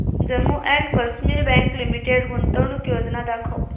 Jammu and Kashmir bank limited गुंतवणूक योजना दाखव